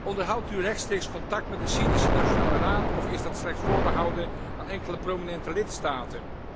Onderhoudt u rechtstreeks contact met de Syrische Nationale Raad, of is dat slechts voorbehouden aan enkele prominente lidstaten?